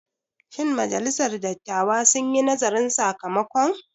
Shin majalisar dattawa sun yi nazarin sakamakon?